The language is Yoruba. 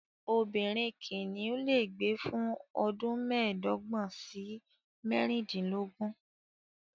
Obìnrin kìnìún lè gbé fún ọdún mẹ́ẹ̀dọ́gbọ̀n sí mẹ́rìndínlógún.